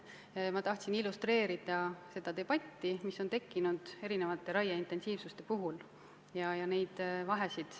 Ma tahtsin seda debatti illustreerida, näidates vahesid raie erineva intensiivsuse puhul.